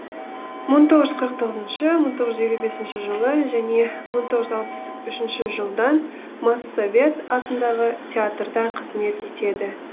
мың тоғыжүз қырық тоғыз мың тоғыжүз елу бесінші жылы және мың тоғыжүз алпыс үшінші жылдан моссовет атындағы театрда қызмет етеді